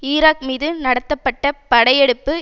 Iraq மீது நடத்தப்பட்ட படை எடுப்பு